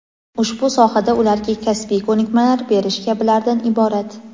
ushbu sohada ularga kasbiy ko‘nikmalar berish kabilardan iborat.